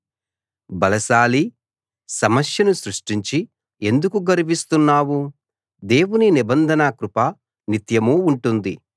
బలశాలీ సమస్యను సృష్టించి ఎందుకు గర్విస్తున్నావు దేవుని నిబంధన కృప నిత్యమూ ఉంటుంది